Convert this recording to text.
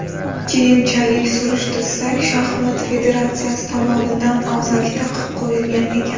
Keyinchalik surishtirsak, shaxmat federatsiyasi tomonidan og‘zaki taqiq qo‘yilgan ekan.